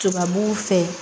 Tubabuw fɛ